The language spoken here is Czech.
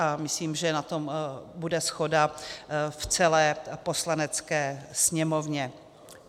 A myslím, že na tom bude shoda v celé Poslanecké sněmovně.